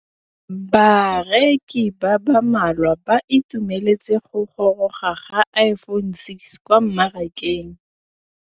Bareki ba ba malwa ba ituemeletse go gôrôga ga Iphone6 kwa mmarakeng.